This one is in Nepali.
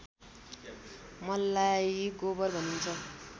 मललाई गोबर भनिन्छ